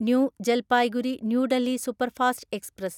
new Jalpaiguri new Delhi superfast express